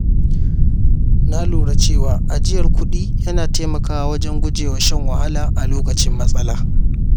Na lura cewa ajiyar kuɗi yana taimakawa wajen guje wa shan wahala a lokacin matsala.